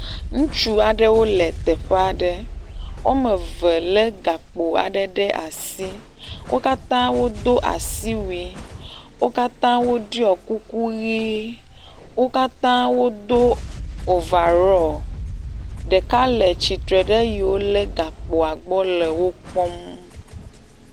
Ŋutsu aɖewo le teƒe aɖe. Woameve lé gakpo aɖe ɖe asi. Wo katã wodo asiwui. Wo katã woɖɔi kuku ʋii. Wo katã wodo overall. Ɖeka le tsitre ɖe eyiwo lé gakpo gbɔ le wokpɔm